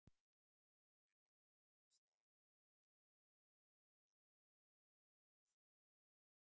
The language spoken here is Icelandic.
Við notuðum það fyrsta árið eftir að við komum hingað meðan við byggðum annað fjós.